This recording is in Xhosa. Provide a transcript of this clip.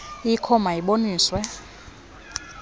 ikho ma iboniswe